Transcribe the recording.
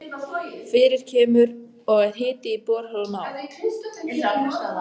Fyrir kemur og að hiti í borholum á